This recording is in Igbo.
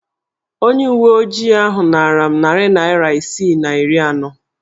Onye uwe ojii ahụ naara m nari naịra isi na iri anọ.